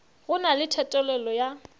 go na le thethelelo ya